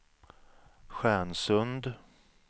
Stjärnsund